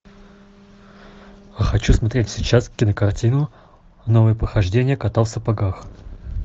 хочу смотреть сейчас кинокартину новые похождения кота в сапогах